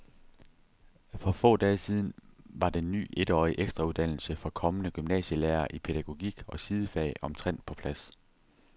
For få dage siden var den ny etårige ekstrauddannelse for kommende gymnasielærere i pædagogik og sidefag omtrent på plads.